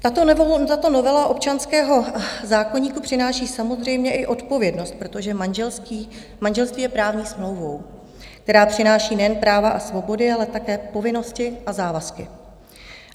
Tato novela občanského zákoníku přináší samozřejmě i odpovědnost, protože manželství je právní smlouvou, která přináší nejen práva a svobody, ale také povinnosti a závazky.